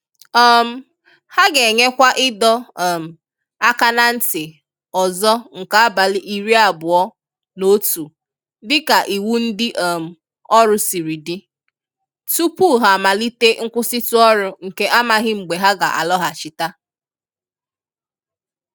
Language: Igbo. um Ha ga-enyekwa ịdọ um aka na nti ọzọ nke abalị iri abụọ na otu dịka iwu ndị um ọrụ siri di, tupu ha amalite nkwụsịtụ ọrụ nke a maghị mgbe ha ga-alọghachite.